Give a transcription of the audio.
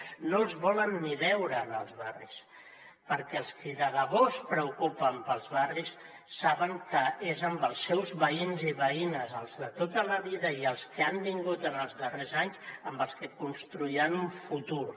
no els volen ni veure en els barris perquè els qui de debò es preocupen pels barris saben que és amb els seus veïns i veïnes els de tota la vida i els que han vingut en els darrers anys amb els que construiran un futur